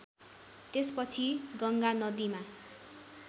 त्यसपछि गङ्गा नदिमा